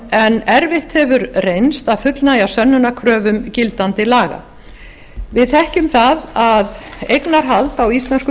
en erfitt hefur reynst að fullnægja sönnunarkröfum gildandi laga við þekkjum það að eignarhald á íslenskum